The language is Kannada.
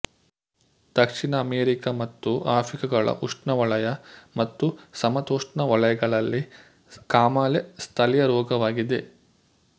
ದಕ್ಷಿಣ ಅಮೇರಿಕ ಮತ್ತು ಆಫ್ರಿಕಗಳ ಉಷ್ಣವಲಯ ಮತ್ತು ಸಮತೋಷ್ಣವಲಯಗಳಲ್ಲಿ ಕಾಮಾಲೆ ಸ್ಥಳೀಯರೋಗವಾಗಿದೆ